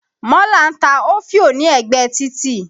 Mọ́là ń ta òfìó ní ẹ̀gbẹ títì.